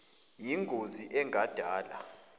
yin gozi engadala